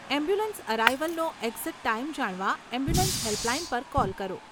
Ambulance અરાઇવલનો exact time જાણવા ambulance helpline પર કૉલ કરો.